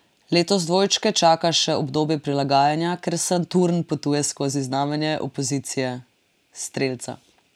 Letos dvojčke čaka še obdobje prilagajanja, ker Saturn potuje skozi znamenje opozicije, strelca.